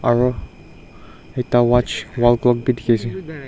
aru ekta watch wall clock bhi dekhi ase.